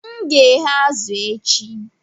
M ga-eghe azụ̀ echi